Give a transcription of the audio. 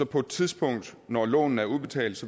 på et tidspunkt når lånene er udbetalt